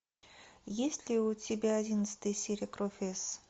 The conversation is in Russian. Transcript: есть ли у тебя одиннадцатая серия кровь с